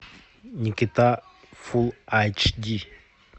никита фул ач ди